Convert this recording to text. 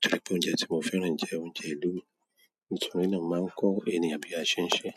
Torí pé oúnjẹ tí mo fẹ́ràn jẹ́ oúnjẹ ìlú mi, nítorí náà mo máa ń kọ́ ènìyàn bí a ṣe ń ṣe.